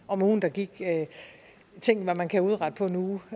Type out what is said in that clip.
om ugen der gik tænk hvad man kan udrette på en uge